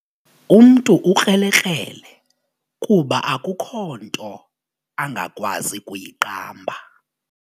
Umntu ukrelekrele kuba akukho nto angakwazi kuyiqamba.